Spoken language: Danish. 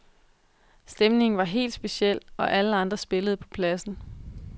Stemningen var helt speciel, og alle andre spillede på pladsen.